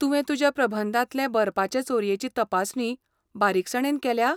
तुवें तुज्या प्रबंधांतले बरपाचे चोरयेची तपासणी बारीकसाणेन केल्या?